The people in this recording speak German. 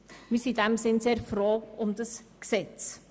Daher sind wir sehr froh um dieses Gesetz.